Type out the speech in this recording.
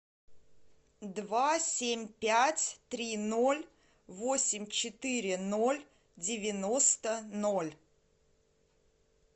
два семь пять три ноль восемь четыре ноль девяносто ноль